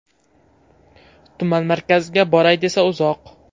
Tuman markaziga boray desa uzoq.